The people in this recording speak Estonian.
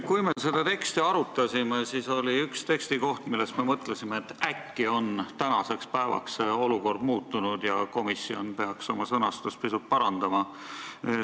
Kui me seda teksti arutasime, siis me mõtlesime, et äkki on tänaseks päevaks olukord muutunud ja komisjon peaks sõnastust ühes kohas pisut parandama.